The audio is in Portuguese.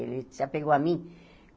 Ele se apegou a mim.